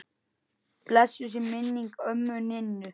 Blessuð sé minning ömmu Ninnu.